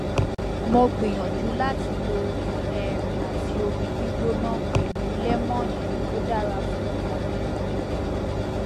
mo gbìyànjú láti lo oyin um àti omi gbígbóná pẹlú lẹmónì ó dára fún ọmọ mi